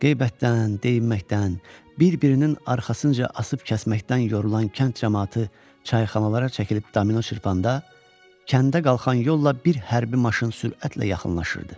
Qeybətdən, deyinməkdən, bir-birinin arxasınca asıb-kəsməkdən yorulan kənd camaatı çayxanalara çəkilib domino çırpanda, kəndə qalxan yolla bir hərbi maşın sürətlə yaxınlaşırdı.